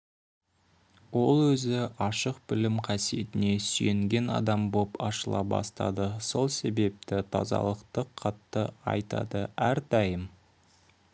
ол өзі ашық білім қасиетіне сүйенген адам боп ашыла бастады сол себепті тазалықты қатты айтады әрдайым